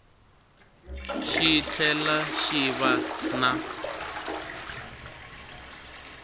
xi tlhela xi va na